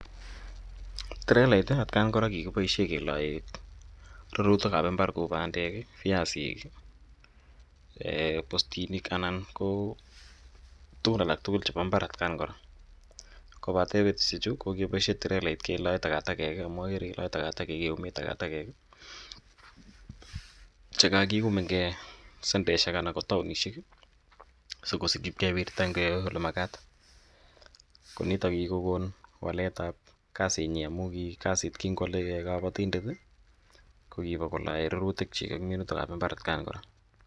Trelait i atian kora ko kikipaishe kelae rurutik ap imbar kou pandek i, viasik i, postiniik anan ko tugun alak tugul chepo mbar atian kora. Kopate petushechu ko kokepaishe trelait kelae takatakek amu akere kelae , keume takatakek che kakium eng' sandeshek anan ko taonishek si kopiit ip kewirta eng' ole makat. Ko nito ko ki kokon walet ap kasitnyi amu kingo ale kapatindet ko kolae rurutiik ak minutiik ap imbar atian kora.